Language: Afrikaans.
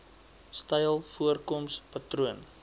styl voorkoms patroon